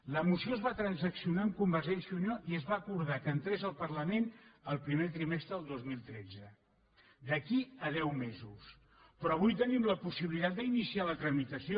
la moció es va transaccionar amb convergència i unió i es va acordar que entrés al parlament el primer trimestre del dos mil tretze d’aquí a deu mesos però avui tenim la possibilitat d’iniciar la tra·mitació